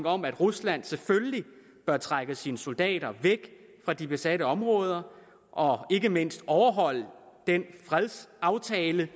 om at rusland selvfølgelig bør trække sine soldater væk fra de besatte områder og ikke mindst overholde den fredsaftale